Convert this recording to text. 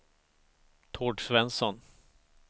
Tord Svensson